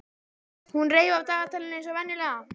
Hún reif af dagatalinu eins og venjulega.